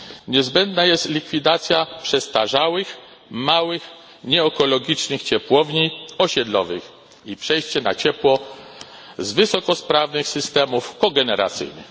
Niezbędna jest likwidacja przestarzałych małych, nieekologicznych ciepłowni osiedlowych i przejście na ciepło z wysokosprawnych systemów kogeneracyjnych.